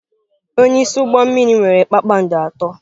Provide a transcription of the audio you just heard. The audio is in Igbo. Onye isi ụgbọ mmiri nwere kpakpando atọ.